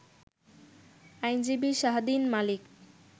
আইনজীবি Shahdeen Malik